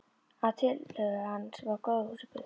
Að tillögu hans var gróðurhúsið byggt.